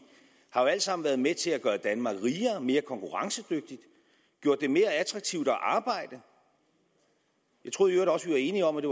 har jo alt sammen været med til at gøre danmark rigere mere konkurrencedygtigt gjort det mere attraktivt at arbejde jeg troede i øvrigt også vi var enige om at